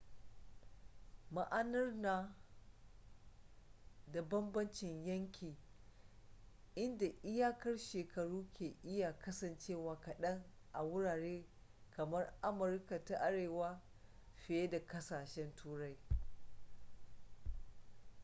ma'anar na da banbancin yanki inda iyakar shekaru ke iya kasancewa kaɗan a wurare kamar amurika ta arewa fiye da ƙsashen turai